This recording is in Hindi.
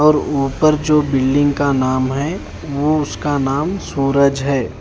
और ऊपर जो बिल्डिंग का नाम है वो उसका नाम सूरज है।